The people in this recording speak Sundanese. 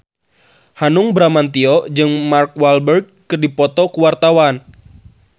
Hanung Bramantyo jeung Mark Walberg keur dipoto ku wartawan